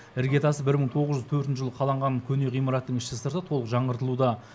іргетасы бір мың тоғыз жүз төртінші жылы қаланған көне ғимараттың іші сырты толық жаңғыртылуда